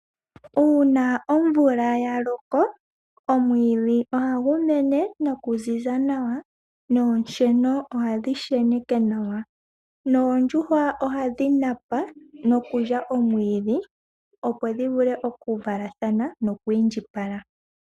Uuna omvula yaloko, omwiidhi oha gumene nokuziza nawa noosheno oha dhi sheneke nawa. oondjuhwa oha dhi napa nokulya omwiidhi opo dhivule oku valathana noko ku indjipala.